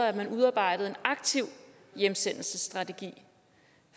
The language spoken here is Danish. at man udarbejdede en aktiv hjemsendelsesstrategi